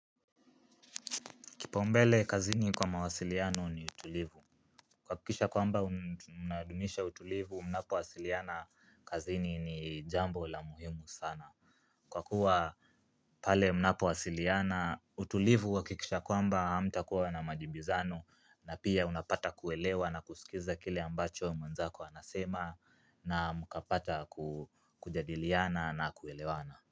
Kipaombele kazini kwa mawasiliano ni utulivu. Kuhakikisha kwamba unadumisha utulivu, mnapowasiliana kazini ni jambo la muhimu sana. Kwa kuwa pale mnapowasiliana utulivu huhakikisha kwamba hamtakuwa na majibizano na pia unapata kuelewa na kusikiza kile ambacho mwenzako anasema na mkapata kujadiliana na kuelewana.